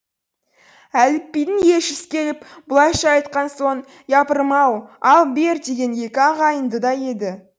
әлібидің елшісі келіп бұлайша айтқан соң япырым ау ал бер деген екі ағайынды еді